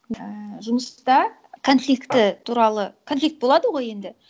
ііі жұмыста конфликті туралы конфликт болады ғой енді